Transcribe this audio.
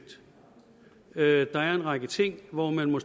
der er en række ting hvorom man må